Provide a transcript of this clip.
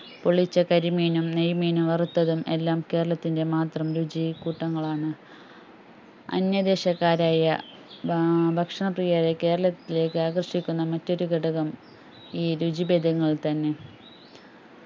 പൊള്ളിച്ച കരിമീനും നൈമീൻ വറുത്തതും എല്ലാം കേരളത്തിൻറെ മാത്രം രുചികൂട്ടങ്ങൾ ആണ് അന്യ ദേശക്കാരായ ഏർ ഭക്ഷണ പ്രിയരേ കേരളത്തിലേക്കു ആകർഷിക്കുന്നമറ്റൊരുഘടകം ഈ രുചിബെദങ്ങൾ തന്നെ